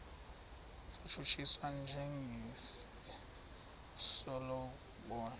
satshutshiswa njengesi sokulobola